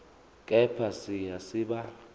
kepha siya siba